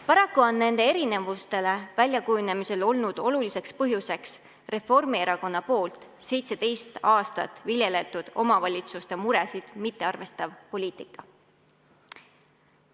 Paraku on nende erinevuste väljakujunemisel oluliseks põhjuseks olnud Reformierakonna 17 aastat viljeletud omavalitsuste muresid mittearvestav poliitika.